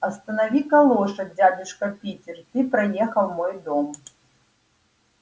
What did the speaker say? останови-ка лошадь дядюшка питер ты проехал мой дом